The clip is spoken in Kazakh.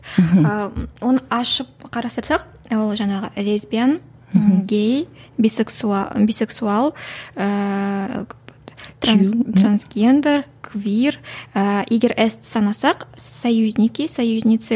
ы оны ашып ол жаңағы лесбян гей бисексуал ііі трансгендер квир ы егер ес ті санасақ союзники союзницы